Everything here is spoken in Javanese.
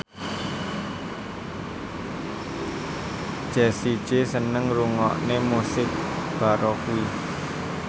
Jessie J seneng ngrungokne musik baroque